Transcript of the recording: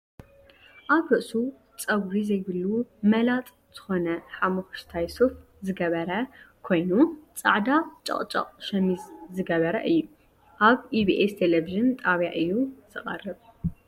ኣብ ርእሱ ፀጉሪ ዘይብሉ መላጥ ዝኮነ ሓሞክሽታይ ሱፍ ዝገበረ ኮይኑ ፃዕዳ ጨጨቅ ሸሚዝ ዝገበረ እዩ። ኣብ ኢቢኤስ ቴሌቭን ጣብያ እዩ ዝቀርብ ።